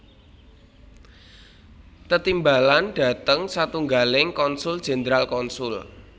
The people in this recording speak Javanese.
Tetimbalan dhateng satunggaling konsul jenderal konsul